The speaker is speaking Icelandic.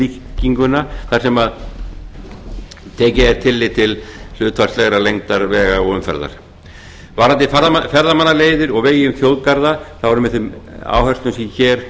við reiknilíkinguna þar sem tekið er tillit hlutfallslegar lengdar vega og umferðar varðandi ferðamannaleiðir og vegi um þjóðgarða er með þeim áherslum sem hér